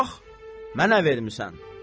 Bax, mənə vermisən.